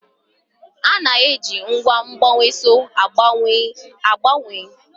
A na-eji ngwa mgbanweọsọ a gbanwee nnyefe.